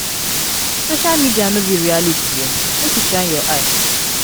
Social media no be reality o, make you shine your eyes.